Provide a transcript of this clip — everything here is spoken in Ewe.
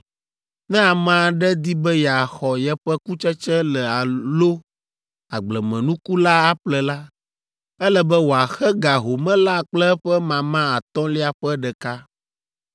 Ne ame aɖe di be yeaxɔ yeƒe kutsetse la alo agblemenuku la aƒle la, ele be wòaxe ga home la kple eƒe mama atɔ̃lia ƒe ɖeka.